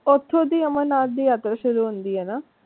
ਓਥੋਂ ਦੀ ਅਮਰਨਾਥ ਦੀ ਯਾਤਰਾ ਸ਼ੁਰੂ ਹੁੰਦੀ ਹੈ ਨਾ?